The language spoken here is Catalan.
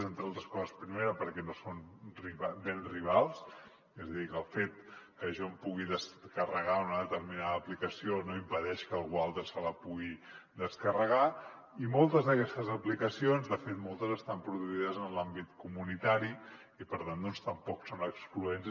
entre altres coses primera perquè no són béns rivals és a dir que el fet que jo em pugui descarregar una determinada aplicació no impedeix que algú altre se la pugui descarregar i moltes d’aquestes aplicacions de fet moltes estan produïdes en l’àmbit comunitari i per tant doncs tampoc són excloents